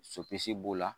Sopisi b'o la